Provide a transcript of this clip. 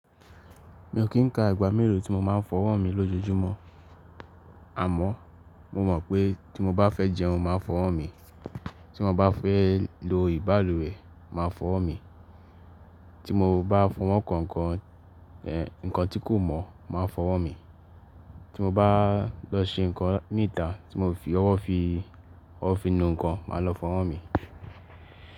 Mi ò kín ka ìgbà mélòó tí mo máa ń fọwọ́ mi lójoojúmọ́. Àmọ́ mo mọ̀ pé tí mo bá fẹ́ jẹun, máa fọwọ́ mi. Tí mo bá fẹ́ lo ìbalùwẹ̀, máa fọwọ́ mi. Tí mo bá fọwọ́ nkàn, ǹkan tí kò mọ́, máa fọwọ́ mi. Tí mo bá lọ se ǹkan níta tí mo fi ọwọ́ fi, ọwọ́ fi nu ǹkan, máa lọ fọwọ́ mi.